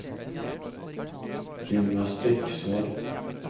gymnastikksal